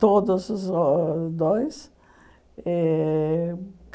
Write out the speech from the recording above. Todos os o dois. Eh